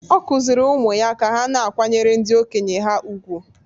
Ọ kụziiri ụmụ ya ka ha na-akwanyere ndị okenye ha ùgwù.